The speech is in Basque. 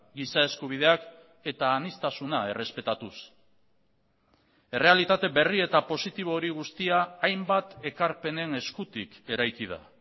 giza eskubideak eta aniztasuna errespetatuz errealitate berri eta positibo hori guztia hainbat ekarpenen eskutik eraiki da